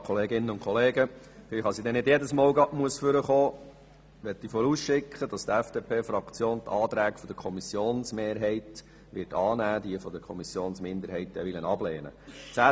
Damit ich nicht jedes Mal ans Pult treten muss, möchte ich vorausschicken, dass die FDP-Fraktion die Anträge der Kommissionsmehrheit annehmen und jene der Kommissionsminderheit ablehnen wird.